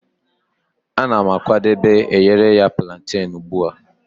Ana m akwadebe ayereya plantane ugbu a.